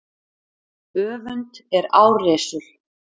Öfund er árrisul.